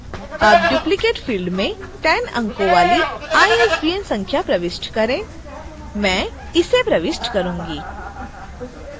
अब duplicate field में 10 अंकों वाली isbn संख्या प्रविष्ट करें मैं इसे प्रविष्ट करुँगी